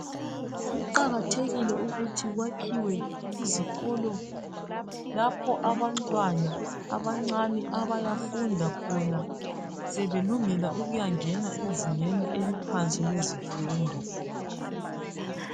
Kuqakathekile ukuthi kwakhiwe izikolo lapho abantwana abancane abayafunda khona sebelungela ukuyangena ezingeni eliphansi lezifundo